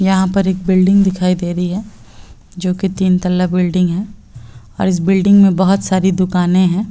यहाँ पर एक बिल्डिंग दिखाई दे रही है जो कि तीन तल्ला बिल्डिंग है और इस बिल्डिंग में बहुत सारी दुकानें हैं।